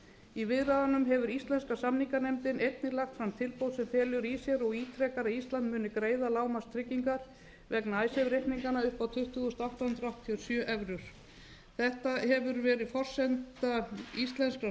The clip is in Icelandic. í viðræðunum hefur íslenska samninganefndin einnig lagt fram tilboð sem felur í sér og ítrekar að ísland muni greiða lágmarkstryggingar vegna icesave reikninganna upp að tuttugu þúsund átta hundruð áttatíu og sjö evrum þetta hefur verið forsenda íslenskra